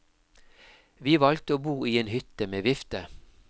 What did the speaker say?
Vi valgte å bo i en hytte med vifte.